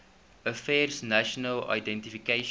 affairs national identification